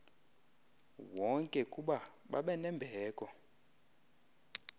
wonke kuba babenembeko